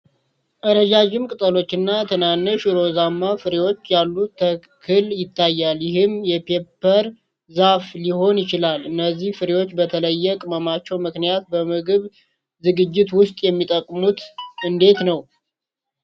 ረዣዥም ቅጠሎችና ትናንሽ ሮዝማ ፍሬዎች ያሉት ተክል ይታያል፤ ይህም የፔፐር ዛፍ ሊሆን ይችላል። እነዚህ ፍሬዎች በተለየ ቅመማቸው ምክንያት በምግብ ዝግጅት ውስጥ የሚጠቀሙት እንዴት ነው?